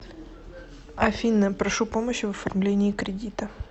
афина прошу помощи в оформлении кредита